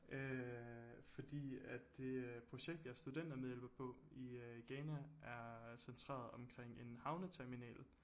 Øh fordi at det øh projekt jeg studentermedhjælper på i øg i Ghana er centreret omkring en havneterminal